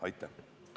Aitäh!